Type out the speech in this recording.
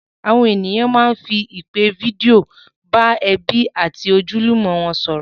Àwọn ènìyàn máá ń fi ìpè fídíò bá ẹbí àti ojúlùmọ̀ wọn sọ̀rọ̀